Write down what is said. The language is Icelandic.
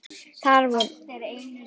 Þar voru hreinar línur.